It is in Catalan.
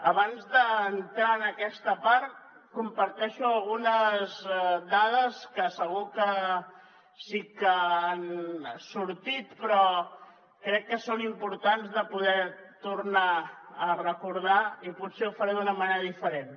abans d’entrar en aquesta part comparteixo algunes dades que segur que sí que han sortit però crec que són importants de poder tornar a recordar i potser ho faré d’una manera diferent